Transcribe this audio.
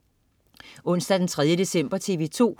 Onsdag den 3. december - TV2: